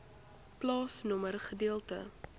plaasnommer gedeelte